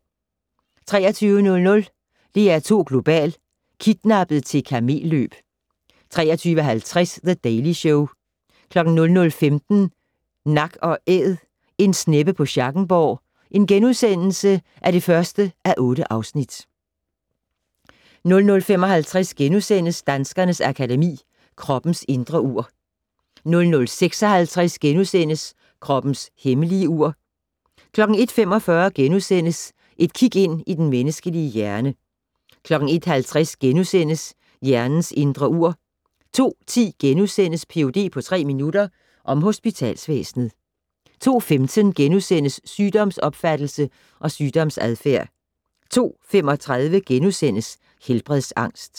23:00: DR2 Global: Kidnappet til kamel-løb 23:50: The Daily Show 00:15: Nak & Æd - en sneppe på Schackenborg (1:8)* 00:55: Danskernes Akademi: Kroppens indre ur * 00:56: Kroppens hemmelige ur * 01:45: Et kig ind i den menneskelige hjerne * 01:50: Hjernens indre ur * 02:10: Ph.d. på tre minutter - om hospitalsvæsenet * 02:15: Sygdomsopfattelse og sygdomsadfærd * 02:35: Helbredsangst *